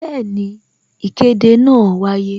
Bẹẹni, ìkéde náà wáyé